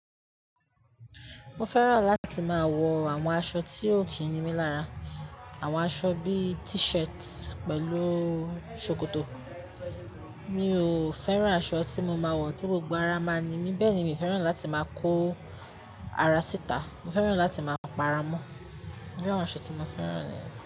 Mo fẹ́ràn láti máa wọ àwọn aṣọ tí ó kìí ní mí lára. Àwọn aṣọ bí i t-shirt pẹ̀lú ṣòkòtò. Mi ò fẹ́ràn aṣọ tí mo máa wọ tí gbogbo ara á máa ní mí. Bẹ́ẹ̀ ni, mi fẹ́ràn láti máa kó ara síta. Mo fẹ́ràn láti máa pa ara mọ́. Irú àwọn aṣọ tí mo fẹ́ràn niyẹ̀n.